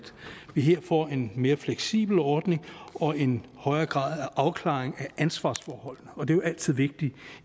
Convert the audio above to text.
vi her får en mere fleksibel ordning og en højere grad af afklaring af ansvarsforholdene og det er jo altid vigtigt